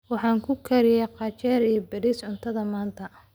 Waxaan u kariyey qajaar iyo bariis cuntada maanta.